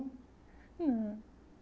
Não.